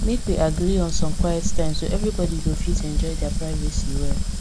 make we agree on some quiet time so everybody go fit enjoy their privacy well